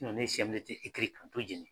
ne ye CMDT jeni.